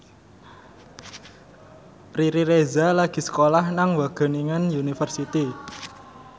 Riri Reza lagi sekolah nang Wageningen University